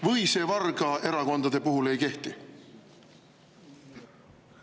Või see vargaerakondade puhul ei kehti?